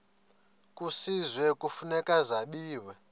kwisizwe kufuneka zabiwe